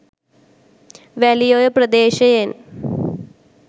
Welioya ප්‍රදේශයෙන්